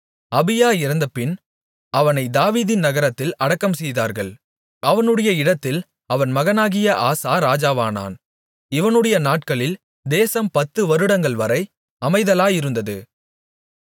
அபியா இறந்தபின் அவனைத் தாவீதின் நகரத்தில் அடக்கம்செய்தார்கள் அவனுடைய இடத்தில் அவன் மகனாகிய ஆசா ராஜாவானான் இவனுடைய நாட்களில் தேசம் பத்து வருடங்கள்வரை அமைதலாயிருந்தது